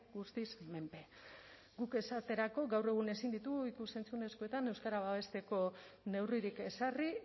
guztiz menpe guk esaterako gaur egun ezin ditugu ikus entzunezkoetan euskara babesteko neurririk ezarri